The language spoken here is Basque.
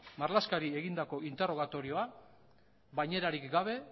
bainerarik gabe